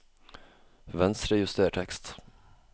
Venstrejuster tekst